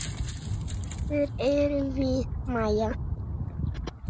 Eftir erum við Maja.